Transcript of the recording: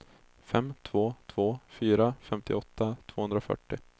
fem två två fyra femtioåtta tvåhundrafyrtio